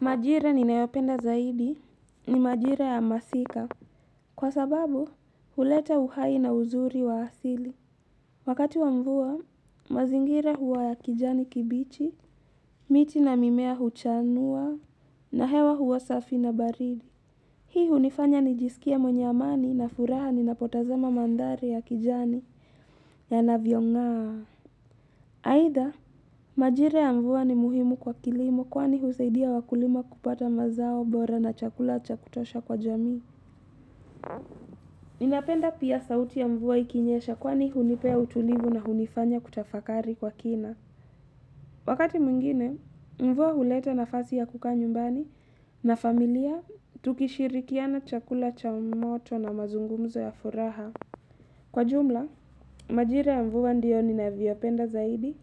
Majira ninayopenda zaidi ni majira ya masika. Kwa sababu, huleta uhai na uzuri wa asili. Wakati wa mvua, mazingira huwa ya kijani kibichi, miti na mimea huchanua, na hewa huwa safi na baridi. Hii hunifanya nijisikie mwenye amani na furaha ni napotazama mandhari ya kijani yanavyongaa. Either, majira ya mvua ni muhimu kwa kilimo, kwani husaidia wakulima kupata mazao bora na chakula cha kutosha kwa jamii. Ninapenda pia sauti ya mvua ikinyesha kwani hunipea utulivu na hunifanya kutafakari kwa kina. Wakati mwingine, mvua huleta nafasi ya kukaa nyumbani na familia. Tukishirikiana chakula cha umoto na mazungumzo ya furaha kwa jumla, majira ya mvua ndiyo ni navyopenda zaidi.